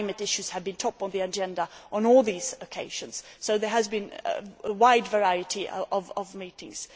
Climate issues have been top of the agenda on all these occasions, so there has been a wide variety of meetings.